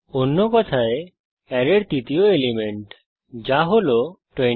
অন্য কথায় অ্যারের তৃতীয় এলিমেন্ট যা হল 29